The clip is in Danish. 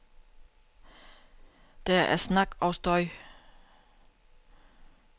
Der er snak og støj.